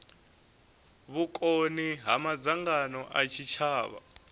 vhukoni ha madzangano a tshitshavha